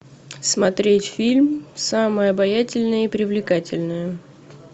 смотреть фильм самая обаятельная и привлекательная